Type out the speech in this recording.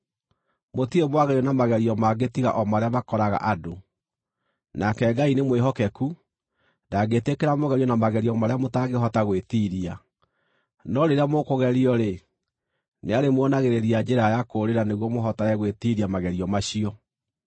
Mũtirĩ mwagerio na magerio mangĩ tiga o marĩa makoraga andũ. Nake Ngai nĩmwĩhokeku; ndangĩtĩkĩra mũgerio na magerio marĩa mũtangĩhota gwĩtiiria. No rĩrĩa mũkũgerio-rĩ, nĩarĩmuonagĩrĩria njĩra ya kũũrĩra nĩguo mũhotage gwĩtiiria magerio macio.